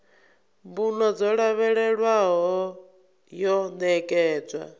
mbuno dzo lavhelelwaho yo ṋekedzwa